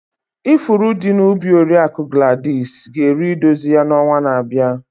Ifuru dị na ubi Oriakụ Gladys ga eru idozi ya na ọnwa na-abịa.